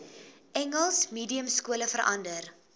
engels mediumskole verander